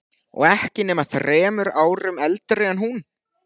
Og ekki nema þremur árum eldri en hún.